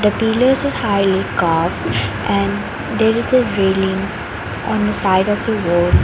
the pillars highly curved and there is a railing on the side of the wall.